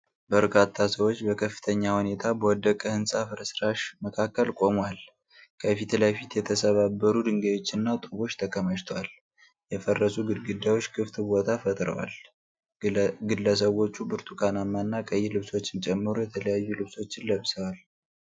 በርካታ ሰዎች በከፍተኛ ሁኔታ በወደቀ ህንፃ ፍርስራሽ መካከል ቆመዋል። ከፊት ለፊት የተሰባበሩ ድንጋዮችና ጡቦች ተከማችተዋል፣ የፈረሱ ግድግዳዎች ክፍት ቦታ ፈጥረዋል። ግለሰቦች ብርቱካናማ እና ቀይ ልብሶችን ጨምሮ የተለያዩ ልብሶችን ለብሰዋል።